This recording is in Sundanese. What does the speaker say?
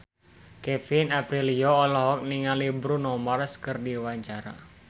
Kevin Aprilio olohok ningali Bruno Mars keur diwawancara